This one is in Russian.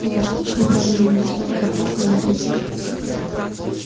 и наш луч направленный на землю как раз на её пути